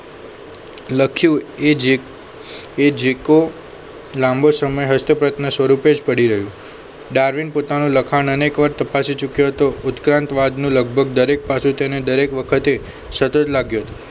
લખ્યું એ જે એ જીકો લાંબો સમય હસ્ત સ્વરૂપે જ પડી રહ્યું ડાર્વિન પોતાનું લખાણ અનેકવાર તપાસે ચુક્યો હતો ઉત્ક્રાંત લગભગ દરેક પાસે તેને દરેક વખતે સતત લાગ્યો